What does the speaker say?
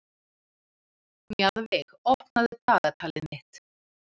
Mjaðveig, opnaðu dagatalið mitt.